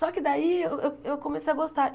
Só que daí eu eu comecei a gostar.